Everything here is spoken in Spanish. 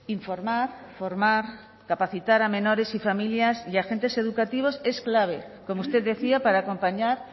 informar formar capacitar a menores y familias y agentes educativos es clave como usted decía para acompañar